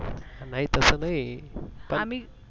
नाहि तस नाहि, पण आम्हि